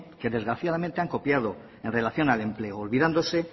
que desgraciadamente han copiado en relación al empleo olvidándose